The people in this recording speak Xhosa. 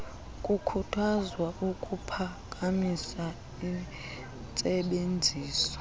kukhuthazwa ukuphakamisa intsebenziso